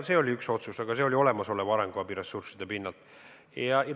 See oli üks otsus, mis puudutas olemasolevaid arenguabi ressursse.